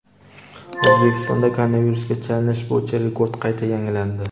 O‘zbekistonda koronavirusga chalinish bo‘yicha rekord qayta yangilandi.